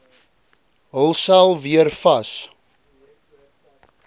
hulsel weer vas